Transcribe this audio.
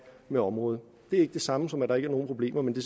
med området det er ikke det samme som at der ikke er nogen problemer men det